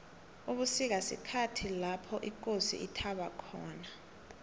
ubusika sikhhathi lopho ikosi ithaba khona